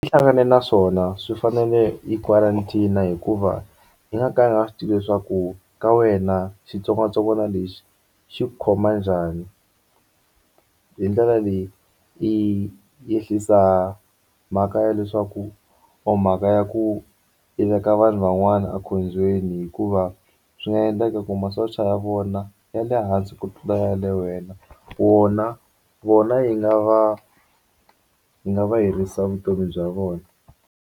I hlangane na swona swi fanele yi quarantine hikuva i nga ka nga swi tivi leswaku ka wena xitsongwatsongwana lexi xi ku khoma njhani hi ndlela leyi i ehlisa mhaka ya leswaku or mhaka ya ku yi veka vanhu van'wana ekhombyeni hikuva swi nga endleka ku masocha ya vona ya le hansi ku tlula ya le wena wona vona yi nga va yi nga va herisa vutomi bya vona.